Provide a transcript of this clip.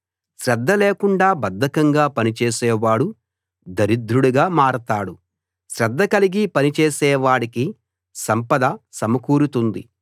శ్రద్ధ లేకుండా బద్దకంగా పనిచేసే వాడు దరిద్రుడుగా మారతాడు శ్రద్ధ కలిగి పనిచేసే వాడికి సంపద సమకూరుతుంది